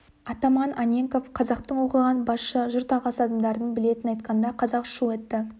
атаман анненков қазақтың оқыған басшы жұрт ағасы адамдарын білетінін айтқанда қазақ шу етті